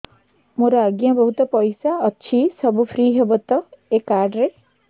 ମୋର ଆଜ୍ଞା ବହୁତ ପଇସା ଅଛି ସବୁ ଫ୍ରି ହବ ତ ଏ କାର୍ଡ ରେ